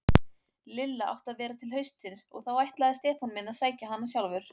Lilla átti að vera til haustsins og þá ætlaði Stefán minn að sækja hana sjálfur.